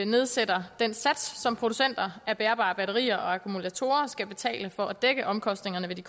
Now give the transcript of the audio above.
nedsætter den sats som producenter af bærbare batterier og akkumulatorer skal betale for at dække omkostningerne ved de